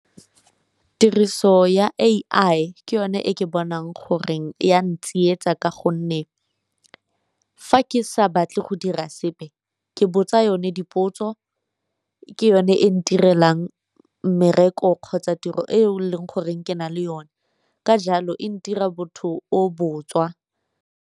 Tiriso ya A_I ke yone e ke bonang goreng e a ya ntsietsa, ka gonne fa ke sa batle go dira sepe ke botsa yo one dipotso ke yone e ntirelang mmereko kgotsa tiro e leng goreng ke na le yone ka jalo e ntirang motho o botswa.